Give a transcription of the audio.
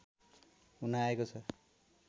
हुन आएको छ